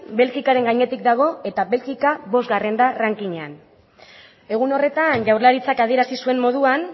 belgikaren gainetik dago eta belgika bosgarren da rankinean egun horretan jaurlaritzak adierazi zuen moduan